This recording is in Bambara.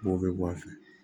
B'o bɛ bɔ a fɛ